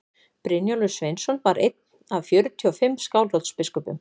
brynjólfur sveinsson var einn af fjörutíu og fimm skálholtsbiskupum